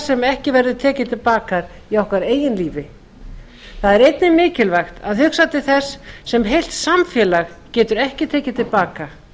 sem ekki verður tekið til baka í okkar eigin lífi það er einnig mikilvægt að hugsa til þess sem heilt samfélag getur ekki tekið til baka